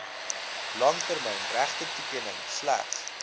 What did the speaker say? langtermyn regtetoekenning slegs